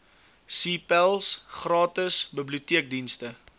cpals gratis biblioteekdienste